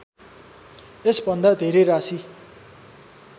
यसभन्दा धेरै राशि